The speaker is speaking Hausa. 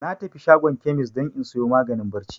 Na tafi shago kemis don in sayo maganin barci